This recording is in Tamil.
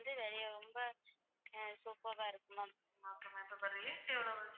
Rate எவ்வளவு?